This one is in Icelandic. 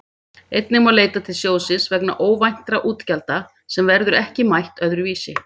Einnig má leita til sjóðsins vegna óvæntra útgjalda sem verður ekki mætt öðru vísi.